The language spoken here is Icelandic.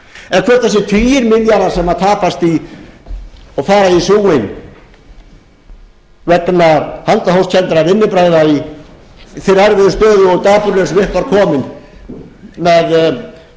tugir milljarða sem tapast og fara í súginn vegna handahófskenndra vinnubragða í þeirri erfiðu stöðu og dapurlegu sem upp var komin með